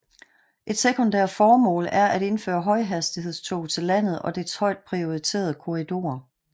Et sekundært formål er at indføre højhastighedstog til landet og dets højt prioriterede korridorer